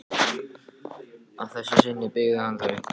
Að þessu sinni byggði hann þau.